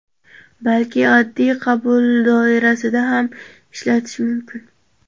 balki oddiy qabul doirasida ham ishlatish mumkin.